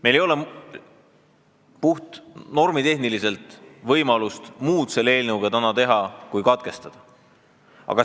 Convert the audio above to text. Meil ei ole puht normitehniliselt võimalust muud selle eelnõuga täna teha kui selle lugemine katkestada.